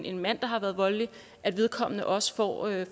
en mand der har været voldelig også får at